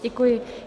Děkuji.